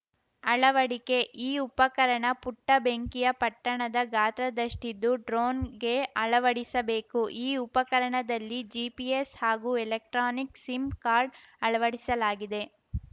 ಅಳವಡಿಕೆ ಈ ಉಪಕರಣ ಪುಟ್ಟಬೆಂಕಿಯ ಪಟ್ಟಣದ ಗಾತ್ರದಷ್ಟಿದ್ದು ಡ್ರೋನ್‌ಗೆ ಅಳವಡಿಸಬೇಕು ಈ ಉಪರಣದಲ್ಲಿ ಜಿಪಿಎಸ್‌ ಹಾಗೂ ಎಲೆಕ್ಟ್ರಾನಿಕ್‌ ಸಿಮ್‌ ಕಾರ್ಡ್‌ ಅಳವಡಿಸಲಾಗಿದೆ